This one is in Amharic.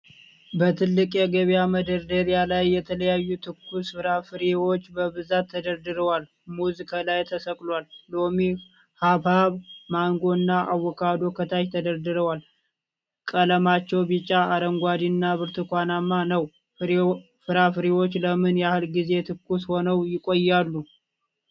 በትልቅ የገበያ መደርደሪያ ላይ የተለያዩ ትኩስ ፍራፍሬዎች በብዛት ተደርድረዋል። ሙዝ ከላይ ተሰቅሏል፣ ሎሚ፣ ሐብሐብ፣ ማንጎ እና አቮካዶ ከታች ተደርድረዋል። ቀለማቸው ቢጫ፣ አረንጓዴ እና ብርቱካን ነው። ፍራፍሬዎቹ ለምን ያህል ጊዜ ትኩስ ሆነው ይቆያሉ?